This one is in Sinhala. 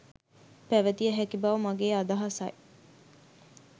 පැවතිය හැකි බව මගේ අදහසයි.